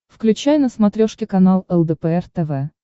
включай на смотрешке канал лдпр тв